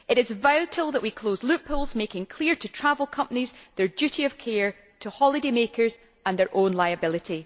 It is vital that we close loopholes and make clear to travel companies their duty of care to holidaymakers and their own liability.